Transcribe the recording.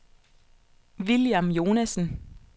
William Jonassen